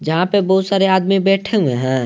जहां पे बहुत सारे आदमी बैठे हुए हैं।